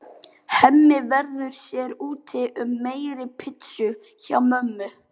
Hemmi verður sér úti um meiri pitsu hjá mömmu.